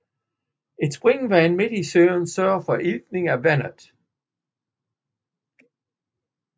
Et springvand midt i søen sørger for iltning af vandet